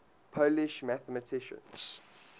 polish mathematicians